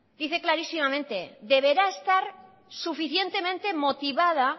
dice clarísimamente deberá estar suficientemente motivada